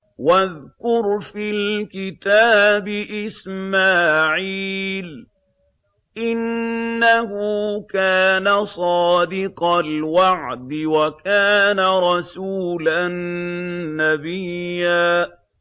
وَاذْكُرْ فِي الْكِتَابِ إِسْمَاعِيلَ ۚ إِنَّهُ كَانَ صَادِقَ الْوَعْدِ وَكَانَ رَسُولًا نَّبِيًّا